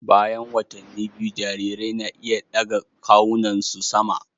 Bayan watanni biyu, jarirai na iya ɗaga kawunansu sama